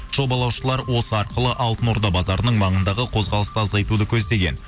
жобалаушылар осы арқылы алтын орда базарының маңындағы қозғалысты азайтуды көздеген